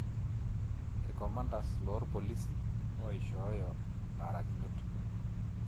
Ircomandas loorpolisi oishooyo imbarakinot